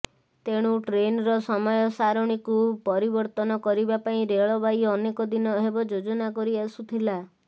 ତେଣୁ ଟ୍ରେନ୍ର ସମୟ ସାରଣୀକୁ ପରିବର୍ତ୍ତନ କରିବା ପାଇଁ ରେଳବାଇ ଅନେକ ଦିନ ହେବ ଯୋଜନା କରିଆସୁଥିଲା